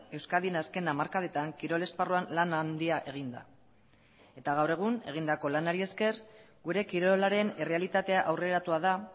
euskadin azken hamarkadetan kirol esparruan lan handia egin da eta gaur egun egindako lanari esker gure kirolaren errealitatea aurreratua da